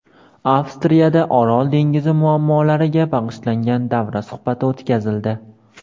Avstriyada Orol dengizi muammolariga bag‘ishlangan davra suhbati o‘tkazildi.